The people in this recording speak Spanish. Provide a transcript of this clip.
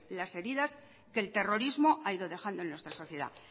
las heridas que el terrorismo ha ido dejando en nuestra sociedad